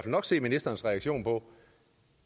nok se ministerens reaktion